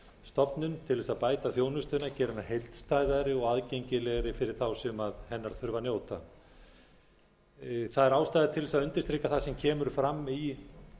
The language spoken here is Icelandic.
stofnun til þess að bæta þjónustuna gera hana heildstæðari og aðgengilegri fyrir þá sem hennar þurfa að njóta það er ástæða til þess að undirstrika það sem kemur fram í